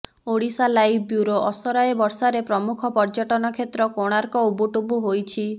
Odisha live bureau ଅସରାଏ ବର୍ଷାରେ ପ୍ରମୁଖ ପର୍ଯ୍ୟଟନ କ୍ଷେତ୍ର କୋଣାର୍କ ଉବୁଟୁବୁ ହୋଇଛି